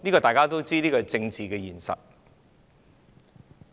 大家都知道，這是政治現實。